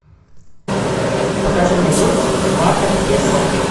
покажи мне курс бата к песо